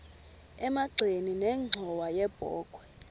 emagxeni nenxhowa yebokhwe